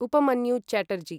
Upmanyu Chatterjee